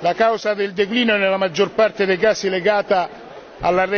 La causa del declino è nella maggior parte dei casi legata